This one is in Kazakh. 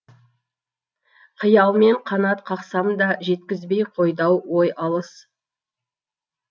қиялмен қанат қақсам да жеткізбей қойды ау ой алыс